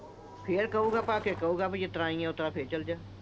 ਫਿਰ ਕਹੂ ਗਾ ਕਹੂ ਗਾ ਵੀ ਜਿਸ ਤਰ੍ਹਾਂ ਆਈਂ ਆਂ, ਫਿਰ ਚਲ ਜਾ।